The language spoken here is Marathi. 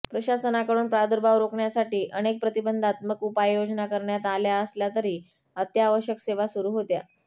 प्रशासनाकडून प्रादुर्भाव रोखण्यासाठी अनेक प्रतिबंधात्मक उपाययोजना करण्यात आल्या असल्या तरी अत्यावश्यक सेवा सुरू होत्या